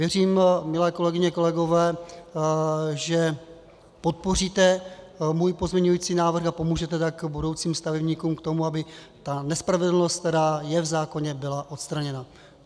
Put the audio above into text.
Věřím, milé kolegyně, kolegové, že podpoříte můj pozměňující návrh a pomůžete tak budoucím stavebníkům k tomu, aby ta nespravedlnost, která je v zákoně, byla odstraněna.